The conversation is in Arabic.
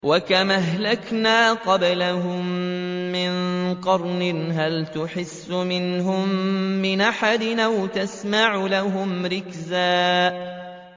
وَكَمْ أَهْلَكْنَا قَبْلَهُم مِّن قَرْنٍ هَلْ تُحِسُّ مِنْهُم مِّنْ أَحَدٍ أَوْ تَسْمَعُ لَهُمْ رِكْزًا